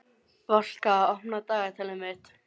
Valka, opnaðu dagatalið mitt.